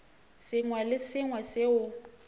sengwe le se sengwe seo